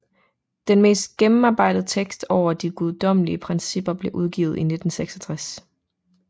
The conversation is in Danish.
Den mest gennemarbejdede tekst over de Guddommelige Principper blev udgivet i 1966